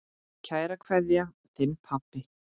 Kær kveðja, þinn pabbi.